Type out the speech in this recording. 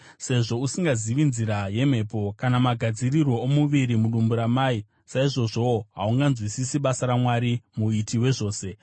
Sezvo usingazivi nzira yemhepo, kana magadzirirwo omuviri mudumbu ramai, saizvozvowo haunganzwisisi basa raMwari, Muiti wezvose.